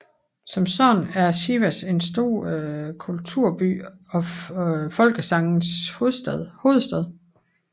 Som sådan er Sivas en stor kulturby og folkesangenes hovedstad